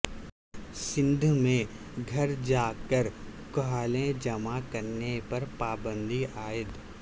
سندھ میں گھر جا کر کھالیں جمع کرنے پر پابندی عائد